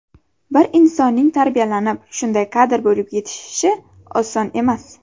Bir insonning tarbiyalanib, shunday kadr bo‘lib yetishishi oson emas.